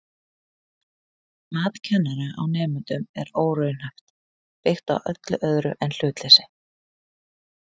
Mat kennara á nemendum er óraunhæft, byggt á öllu öðru en hlutleysi.